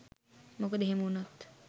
මොකද එහෙම වුණොත්